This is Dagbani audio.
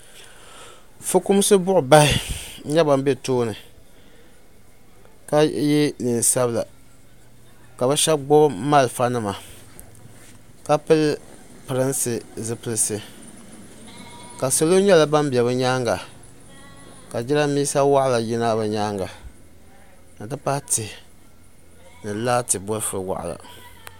ƒɔkumisi bɔɣibahi nyɛ ban bɛ tuuni ka yɛ nɛnpiɛlla ka be shɛbi gbabi maliƒɔ nima ka pɛrin pɛrinsi zipɛlisi ka salo nyɛ ban bɛ be nyɛŋa ka jarinibɛsa waɣila yina be nyɛŋa n pahi tihi ni laati bɔliƒɔ waɣila